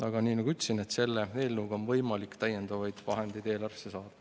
Aga nii nagu ma ütlesin, selle eelnõu kohaselt on võimalik täiendavaid vahendeid eelarvesse saada.